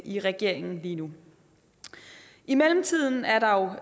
i regeringen lige nu i mellemtiden er der